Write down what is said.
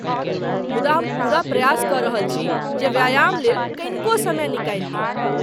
मुदा हम पूरा प्रयास कऽ रहल छी जे व्यायाम लेल कनिको समय निकालि ली ।